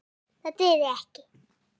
Það dugði ekki.